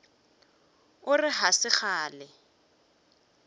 o re ga se kgale